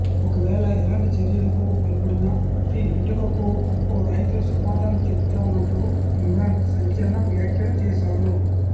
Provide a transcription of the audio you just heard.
ఒకవేళ ఎలాంటి చర్యలకు పాల్పడినా ప్రతి ఇటుకకూ ఒక్కో రాయితో సమాధానం చెబుతామంటూ ఇమ్రాన్ సంచలన వ్యాఖ్యలు చేశారు